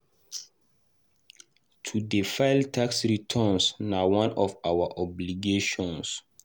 To dey file tax returns na one of our obligations.